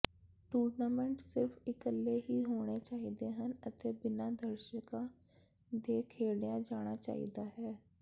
tournament ਸਿਰਫ ਇਕੱਲੇ ਹੀ ਹੋਣੇ ਚਾਹੀਦੇ ਹਨ ਅਤੇ ਬਿਨਾਂ ਦਰਸ਼ਕਾਂ ਦੇ ਖੇਡਿਆ ਜਾਣਾ ਚਾਹੀਦਾ ਹੈ